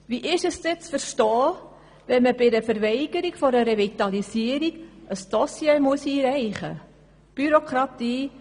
Wie ist es dann zu verstehen, wenn man bei einer Verweigerung einer Revitalisierung ein Dossier einreichen muss?